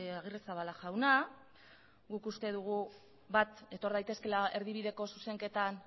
agirrezabala jauna guk uste dugu bat etor daitezkeela erdibideko zuzenketan